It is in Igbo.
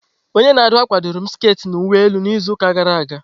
Onye na-akwa akwa ahụ dụru m sket na uwe elu na izu ụka gara aga.